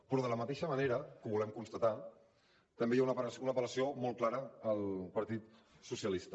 però de la mateixa manera que ho volem constatar també hi ha una apel·lació molt clara al partit socialista